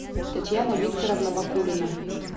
татьяна викторовна бакулина